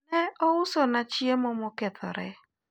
ne ousna chiemo mokethore